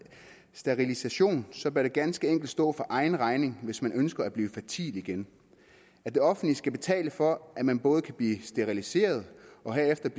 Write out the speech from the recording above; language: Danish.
sterilisation så bør det ganske enkelt stå for egen regning hvis man ønsker at blive fertil igen at det offentlige skal betale for at man både kan blive steriliseret og herefter